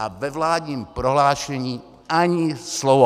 A ve vládním prohlášení ani slovo.